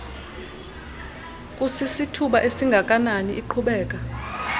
kusisithuba esingakanani iqhubekeka